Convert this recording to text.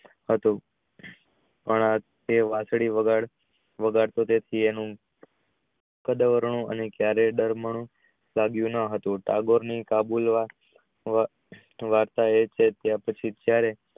પણ તે વાંસળી વગાડતો તેથી તેનું ક્યારેય દર માં હતું કબર ની કાબુલ વા ત્યાર પછી ત્યારે